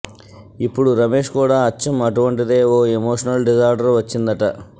ఇప్పుడు రమేష్ కూడా అచ్చం అటువంటిదే ఓ ఎమోషనల్ డిజార్డర్ వచ్చిందట